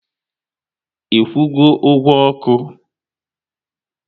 I kwụgo ụgwọ oku?